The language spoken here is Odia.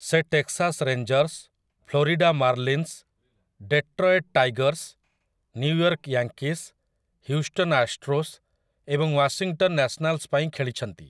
ସେ Texas Rangers, Florida Marlins, Detroit Tigers, New York Yankees, Houston Astros ଏବଂ ୱାଶିଂଟନ୍ ନ୍ୟାସ୍‌ନାଲ୍‌ସ ପାଇଁ ଖେଳିଛନ୍ତି ।